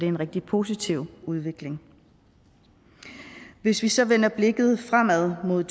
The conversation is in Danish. en rigtig positiv udvikling hvis vi så vender blikket fremad mod